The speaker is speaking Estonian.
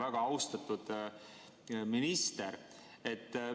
Väga austatud minister!